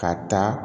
Ka taa